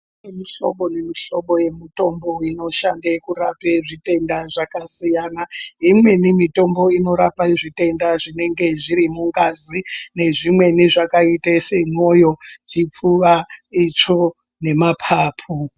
Kune mihlobo nemihlobo yemitombo inoshande kurap zvitenda zvakasiyana. Imweni mitombo inorapa zvitenda zvinenge zviri mungazi, nezvimweni zvakaite mwoyo, chipfuwa, itsvo, nemaphaphu.